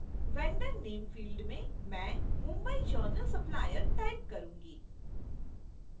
vendor name field में मैं mumbai journal supplier type करूंगी